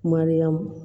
Mariyamu